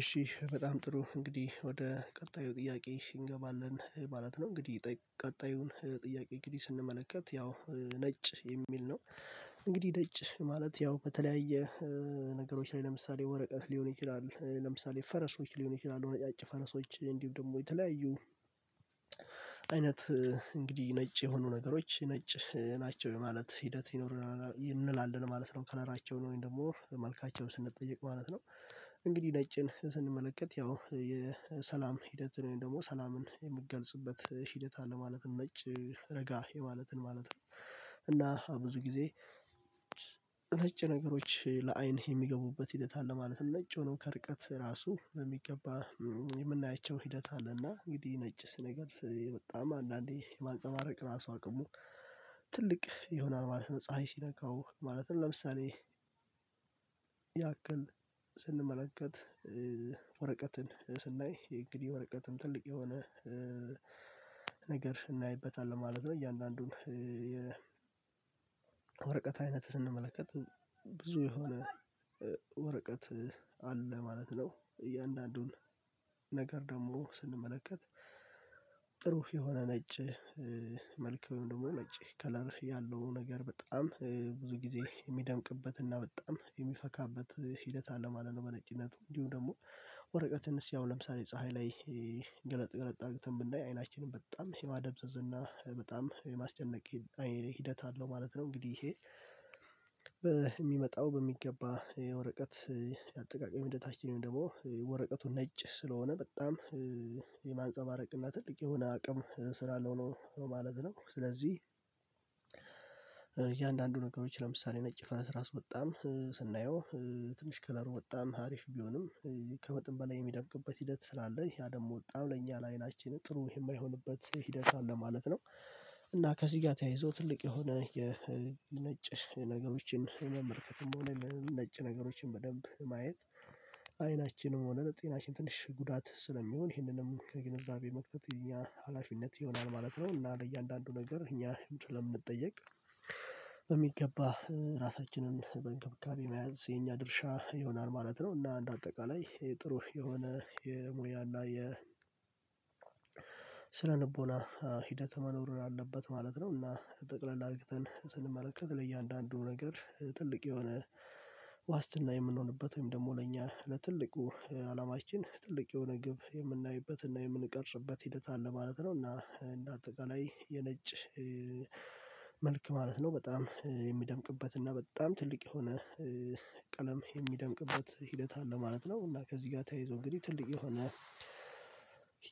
እሺ በጣም ጥሩ እንግዲህ ወደ ቀጣዩ ጥያቄ እንገባለን ማለት ነው እንግዲህ ቀጣዩን ጥያቄ እንግዲህ ስንመለከት ያው ነጭ የሚል ነው እንግዲህ ደጭ ማለት ያው በተለያየ ነገሮች ላይ ለምሳሌ ወረቀት ሊሆን ይችላል ለምሳሌ ፈረሶች ሊሆን ይችላል ነጫጭ ፈረሶች እንዲሁም ደግሞ የተለያዩ አይነት እንግዲህ ነጭ የሆኑ ነገሮች ነጭ ናቸው የማለት ሂደት ይኖረናል እንላለን ማለት ነው ከለራቸውን ወይም ደግሞ መልካቸውን ስንጠይቅ ማለት ነው እንግዲህ ነጭን ስንመለከት ያው የሰላም ሂደትን ወይም ደግሞ ሰላምን የምትገልጽበት ሂደት አለ ማለት ነጭ ረጋ የማለትን ማለት ነው እና ብዙ ጊዜ ነጭ ነገሮች ለአይን የሚገቡበት ሂደት አለ ማለት ነጭ ሆኖ ከርቀት ራሱ በሚገባ የምናያቸው ሂደት አለና እንግዲህ ነጭ ስነግር በጣም አንዳንዴ የማንፀባረቅ ራሱ አቅሙ ትልቅ ይሆናል ማለት ነው ፀሀይ ሲነካው ማለትም ለምሳሌ ያክል ስንመለከት ወረቀትን ስናይ እንግዲህ ወረቀትም ትልቅ የሆነ ነገር እናይበታለን ማለት ነው እያንዳንዱን ወረቀት አይነት ስንመለከት ብዙ የሆነ ወረቀት አለ ማለት ነው እያንዳንዱን ነገር ደግሞ ስንመለከት ጥሩ የሆነ ነጭ መልክ ወይም ደግሞ ነጭ ከለር ያለው ነገር በጣም ብዙ ጊዜ የሚደምቅበትና በጣም የሚፈካበት ሂደት አለ ማለት ነው በነጭነቱ እንዲሁ ደግሞ ወረቀትንስ ያው ለምሳሌ ፀሀይ ላይ ገለጥ ገለጥ አድርግተን ብናይ አይናችንን በጣም የማደብዘዝና በጣም የማስጨነቅ ሂደት አለው ማለት ነው እንግዲህ ይሄ በሚመጣው በሚገባ የወረቀት አጠቃቀም ሂደታችንን ደግሞ ወረቀቱ ነጭ ስለሆነ በጣም የማንፀባረቅ እና ትልቅ የሆነ አቅም ስላለው ነው ማለት ነው ስለዚህ እያንዳንዱ ነገሮች ለምሳሌ ነጭ ፈነስ ራስ በጣም ስናየው ትንሽ ከለሩ በጣም ሀሪፍ ቢሆንም ከመጠን በላይ የሚደምቅበት ሂደት ስላለ ያ ደግሞ በጣም ለእኛ ለአይናችን ጥሩ የማይሆንበት ሂደት አለ ማለት ነው እና ከዚጋ ተያይዞ ትልቅ የሆነ የነጭ ነገሮችን መመልከትም ሆነ ነጭ ነገሮችን በደንብ ማየት አይናችንም ሆነ ለጤናችን ትንሽ ጉዳት ስለሚሆን ይህንንም ከግንዛቤ መክተት የኛ ሀላፊነት ይሆናል ማለት ነው እና ለእያንዳንዱ ነገር እኛ ስለምንጠየቅ በሚገባ ራሳችንን በእንክብካቤ መያዝ የኛ ድርሻ ይሆናል ማለት ነው። እና እንደ አጠቃላይ የጥሩ የሆነ የሙያ እና የ ስለ ልቦና ሂደት መኖር አለበት ማለት ነው እና ጠቅለል አድርግተን ስንመለከት ለእያንዳንዱ ነገር ትልቅ የሆነ ዋስትና የምንሆንበት ወይም ደግሞ ለእኛ ለትልቁ አላማችን ትልቅ የሆነ ግብ የምናይበት እና የምንቀርጽበት ሂደት አለ ማለት ነው እና እንደ አጠቃላይ የነጭ መልክ ማለት ነው በጣም የሚደምቅበት እና በጣም ትልቅ የሆነ ቀለም የሚደምቅበት ሂደት አለ ማለት ነው እና ከዚህ ጋር ተይዞ እንግዲህ ትልቅ የሆነ